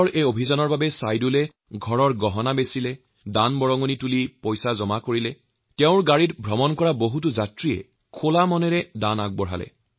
এই প্ৰতিজ্ঞাৰ বাবে ছাইদুলে নিজৰ ঘৰৰ গহনা বিক্ৰী কৰাৰ লগতে মানুহৰ পৰা দান সংগ্ৰহ কৰে আৰু টেক্সী আৰোহীসকলেও তেওঁক আৰ্থিক সাহায্য আগবঢ়ায়